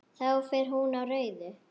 Þá fer hún á rauðu.